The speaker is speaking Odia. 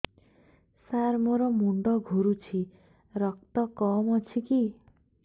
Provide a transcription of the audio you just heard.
ସାର ମୋର ମୁଣ୍ଡ ଘୁରୁଛି ରକ୍ତ କମ ଅଛି କି